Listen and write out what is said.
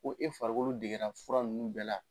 Ko e farikolo degenna fura ninnu bɛɛ la.